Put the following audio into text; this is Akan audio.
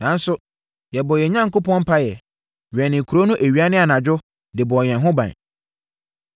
Nanso, yɛbɔɔ yɛn Onyankopɔn mpaeɛ, wɛnee kuro no awia ne anadwo de bɔɔ yɛn ho ban.